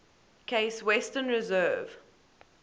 case western reserve